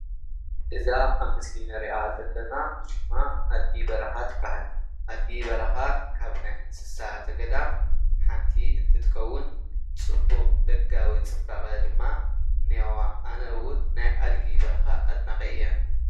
እዛ ኣብ ምስሊ እንርእያ ዘለና ሽማ ኣድጊ በረኻ ትብሃል ኣድጊ በረኻ ካብ ናይ እንስሳ ዘገዳም ሓንቲ እንትትከዉን ፅቡቅ ደጋዊ ፅባቀ ድማ እንሄዋ። ኣነ እዉን ናይ ኣደጊ በረኻ ኣድናቂ እየ::